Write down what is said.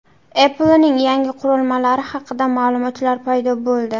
Apple’ning yangi qurilmalari haqida ma’lumotlar paydo bo‘ldi.